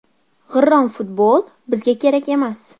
G‘irrom futbol bizga kerak emas.